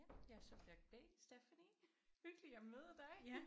Ja jeg er subjekt B Stephanie. Hyggeligt at møde dig